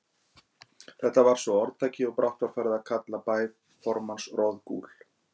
Þetta varð svo að orðtaki, og brátt var farið að kalla bæ formanns Roðgúl.